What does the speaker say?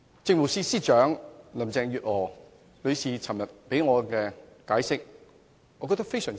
政務司司長林鄭月娥昨天的解釋，我覺得非常滿意。